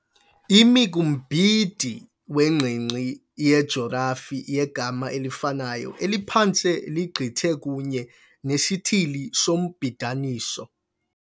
Imi kumbindi wengingqi yejorafi yegama elifanayo eliphantse ligqithe kunye nesithili sombidaniso